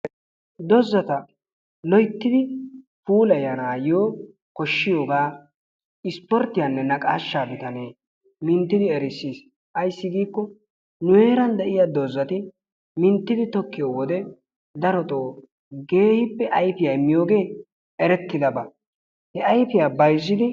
Doozata loyttidi puulaayanaayo koshshiyogaa ispporttiyanne naqaashshaa bitaane minttidi erissiis. Ayssi giiko nu heeran de'iyaa doozati minttidi tokkiyo wode darotoo keehippe ayfiyaa immiyooge erettidaaba. He ayfiya bayzzidi ...